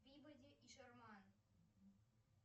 пибоди и шерман